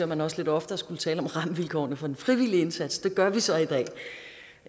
man også lidt oftere skulle tale om rammevilkårene for den frivillige indsats det gør vi så